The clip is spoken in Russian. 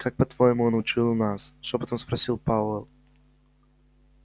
как по-твоему он учуял нас шёпотом спросил пауэлл